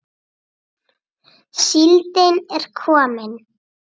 Síldin er komin!